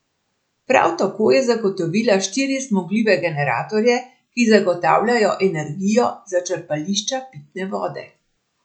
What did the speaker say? Prav tako je zagotovila štiri zmogljive generatorje, ki zagotavljajo energijo za črpališča pitne vode.